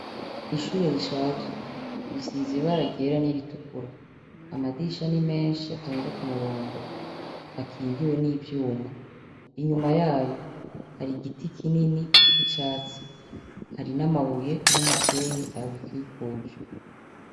Ishure rishaje risize ibara ryera n'iritukura. Amadirisha ni menshi atonze ku murongo akingiwe n'ivyuma. Inyuma yayo hari igiti kinini c'icatsi. Hari n'amabuye n'umusenyi abikikuje.